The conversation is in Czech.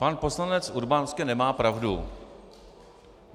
Pan poslanec Urban nemá pravdu.